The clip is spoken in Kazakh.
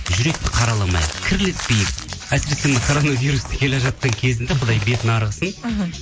жүректі қараламайық кірлетпейік әсірісе мына коронавирус келе жатқан кезінде құдай бетін әрі қылсын мхм